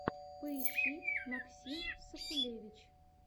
поищи максим сакулевич